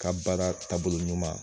Ka baara taabolo ɲuman